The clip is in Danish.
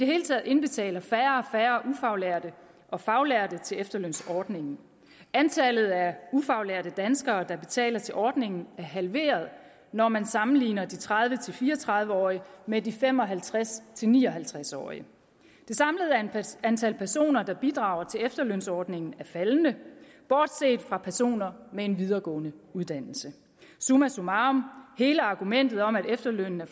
hele taget indbetaler færre og færre ufaglærte og faglærte til efterlønsordningen antallet af ufaglærte danskere der betaler til ordningen er halveret når man sammenligner de tredive til fire og tredive årige med de fem og halvtreds til ni og halvtreds årige det samlede antal personer der bidrager til efterlønsordningen er faldende bortset fra personer med en videregående uddannelse summa summarum hele argumentet om at efterlønnen